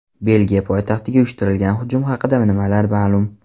Belgiya poytaxtiga uyushtirilgan hujum haqida nimalar ma’lum?.